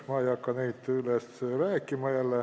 Ma ei hakka sellest uuesti rääkima.